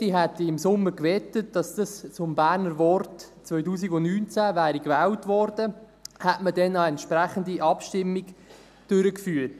Ich hätte im Sommer gewettet, dass dies zum Berner Wort des Jahres 2019 gewählt worden wäre, hätte man damals eine entsprechende Abstimmung durchgeführt.